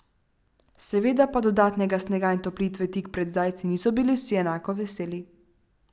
Seveda pa dodatnega snega in otoplitve tik pred zdajci niso bili vsi enako veseli.